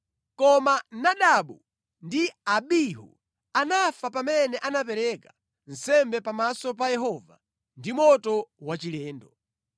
Koma Nadabu ndi Abihu anafa pamene anapereka nsembe pamaso pa Yehova ndi moto wachilendo).